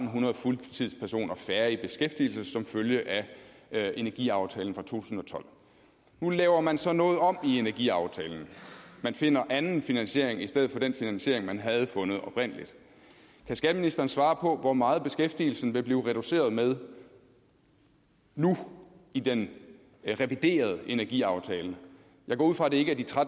hundrede fuldtidspersoner færre i beskæftigelse som følge af energiaftalen for to tusind og tolv nu laver man så noget om i energiaftalen man finder anden finansiering i stedet for den finansiering man oprindelig havde fundet kan skatteministeren svare på hvor meget beskæftigelsen vil blive reduceret med nu i den reviderede energiaftale jeg går ud fra at det ikke er de